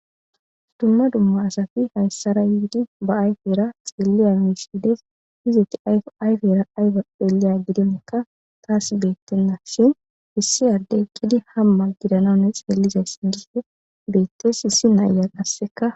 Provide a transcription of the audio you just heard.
Dumma dumma asati haysara yiidi ba ayfera xeliya misha Desi, izeti ayko azi xeliya gidinka tasi betenashn issi Adey eqidi hama gidana nw xeelizaysi giidi beetesi, issi na'iya qaseka